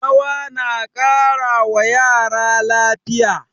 Rawa na ƙara wa yara lafiya